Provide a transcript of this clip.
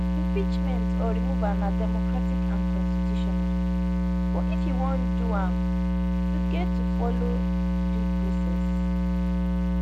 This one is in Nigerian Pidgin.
impeachment or removal na democratic and constitutional but if you wan do am you get to follow due process